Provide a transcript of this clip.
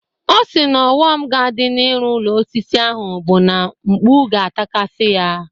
Ọ sị na ọghọm ga-adị n'ịrụ ụlọ osisi ahụ bụ na mkpu ga-atakasị ya.